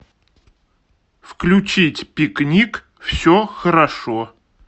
включить пикник все хорошо